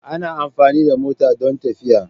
Ana amfani da mota don tafiya.